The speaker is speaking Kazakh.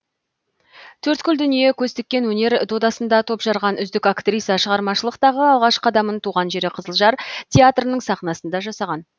төрткүл дүние көз тіккен өнер додасында топ жарған үздік актриса шығармашылықтағы алғаш қадамын туған жері қызылжар театрының сахнасында жасаған